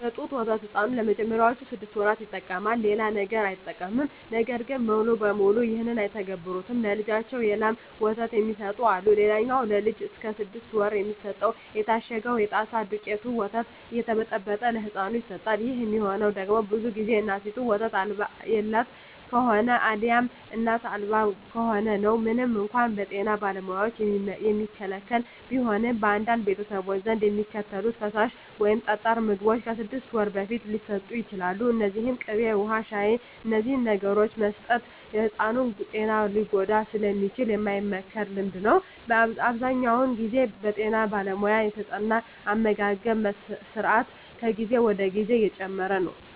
የጡት ወተት ሕፃኑ ለመጀመሪያዎቹ ስድስት ወራት ይጠቀማል። ሌላ ነገር አይጠቀምም። ነገር ግን ሙሉ በሙሉ ይህን አይተገብሩትም። ለልጃቸው የላም ወተት የሚሰጡ አሉ። ሌላኛው ለልጅ እስከ ስድስት ወር የሚሰጠው የታሸገው የጣሳ የደውቄቱ ወተት እየተበጠበጠ ለህፃኑ ይሰጠዋል። ይህ የሚሆነው ደግሞ ብዙ ግዜ እናቲቱ ወተት የላት ከሆነ አልያም እናት አልባ ከሆነ ነው። ምንም እንኳን በጤና ባለሙያዎች የሚከለከል ቢሆንም፣ በአንዳንድ ቤተሰቦች ዘንድ የሚከተሉት ፈሳሽ ወይም ጠጣር ምግቦች ከስድስት ወር በፊት ሊሰጡ ይችላሉ። እነዚህም ቅቤ፣ ውሀ፣ ሻሂ…። እነዚህን ነገሮች መስጠት የሕፃኑን ጤና ሊጎዳ ስለሚችል የማይመከር ልምምድ ነው። አብዛኛውን ግዜ በጠና ባለሙያ የተጠና አመጋገብ ስራት ከጊዜ ወደ ጊዜ እየጨመረ ነው።